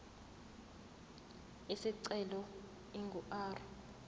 isicelo ingu r